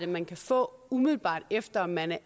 man kan få umiddelbart efter at man er